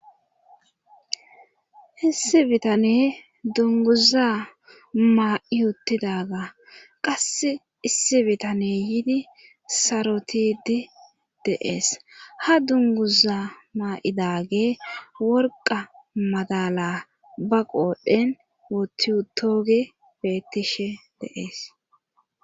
issi bitane dunguza maa7iyotidaga qass issi bitane yiidi sarotidi deees ha dunguza ma7idage worqa madala ba qoodhdhen wotiutooge bettishe deees